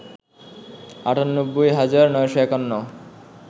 ৯৮ হাজার ৯৫১